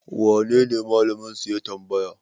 wanene Malaminsu ya tamabaya?